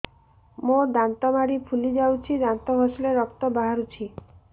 ମୋ ଦାନ୍ତ ମାଢି ଫୁଲି ଯାଉଛି ଦାନ୍ତ ଘଷିଲେ ରକ୍ତ ବାହାରୁଛି